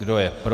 Kdo je pro?